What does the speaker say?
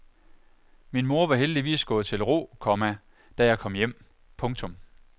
Min mor var heldigvis gået til ro, komma da jeg kom hjem. punktum